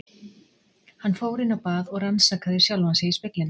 Hann fór inn á bað og rannsakaði sjálfan sig í speglinum.